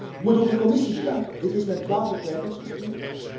Ik moet ook de Commissie bedanken. Dit is mijn 12e kwijtingsoefening.